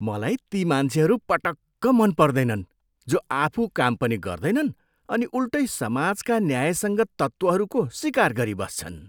मलाई ती मान्छेहरू पटक्क मनपर्दैनन् जो आफू काम पनि गर्दैनन् अनि उल्टै समाजका न्यायसङ्गत तत्त्वहरूको सिकार गरिबस्छन्।